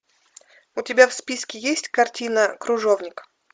у тебя в списке есть картина кружовник